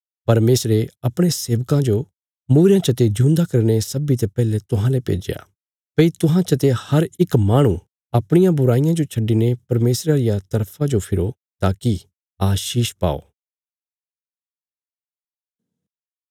परमेशरे अपणे सेवका जो मूईरयां चते जिऊंदा करीने सब्बींते पैहले तुहांले भेज्या भई तुहां चते हर इक्की माहणु अपणियां बुराईयां जो छड्डिने परमेशरा रिया तरफा जो फिरो ताकि आशीष पाओ